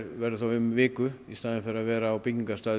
verður þá um viku í staðinn fyrir að vera á byggingarstað